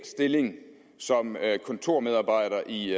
stilling som kontormedarbejder i